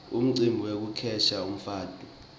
umcibi wekukhetsa umfati